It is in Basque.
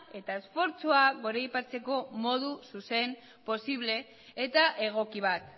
eta esfortzua goraipatzeko modu zuzen posible eta egoki bat